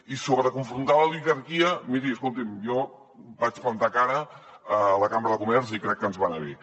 i sobre confrontar l’oligarquia miri escolti’m jo vaig plantar cara a la cambra de comerç i crec que ens va anar bé